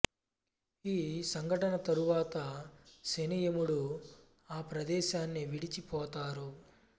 ఈ సంఘటన తరువాత శని యమూడు ఆప్రదేశాన్ని విడిచి పోతారు